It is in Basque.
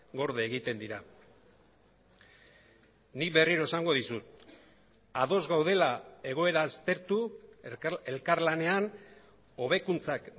gorde egiten dira nik berriro esango dizut ados gaudela egoera aztertu elkarlanean hobekuntzak